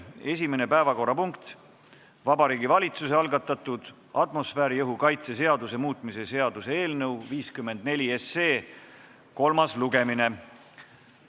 Esimene päevakorrapunkt, Vabariigi Valitsuse algatatud atmosfääriõhu kaitse seaduse muutmise seaduse eelnõu 54 kolmas lugemine.